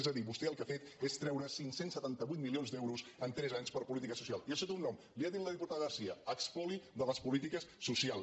és a dir vostè el que ha fet és treure cinc cents i setanta vuit milions d’euros en tres anys per a polítiques socials i això té un nom li ho ha dit la diputada garcia espoli de les polítiques socials